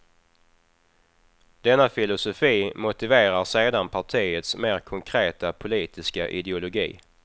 Denna filosofi motiverar sedan partiets mer konkreta politiska ideologi.